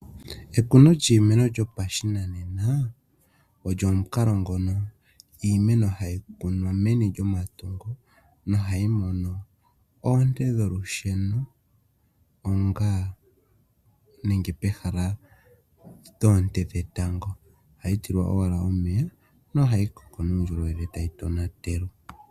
Ekuno lyiimeno lyo pashinanena, olyo omukalo ngono iimeno hayi kunwa meni lyomatungu nohayi mono oonte dholusheno pehala lyoonte dhetango, ohayitilwa owala omeya nohayi koka unene ngele tayi tonatelwa.